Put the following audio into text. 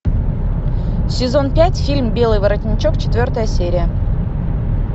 сезон пять фильм белый воротничок четвертая серия